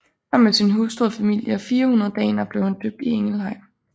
Sammen med sin hustru og familie og 400 daner blev han døbt i Ingelheim